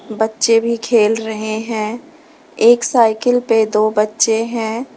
बच्चे भी खेल रहे हैं एक साइकिल पे दो बच्चे हैं।